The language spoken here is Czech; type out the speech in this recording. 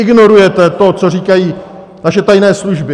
Ignorujete to, co říkají naše tajné služby.